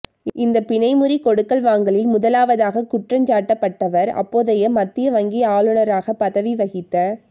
இந்த பிணைமுறி கொடுக்கல் வாங்கலில் முதலாவதாக குற்றஞ் சாட்டப்பட்டவர் அப்போதைய மத்திய வங்கி ஆளுநராகப் பதவி வகித்த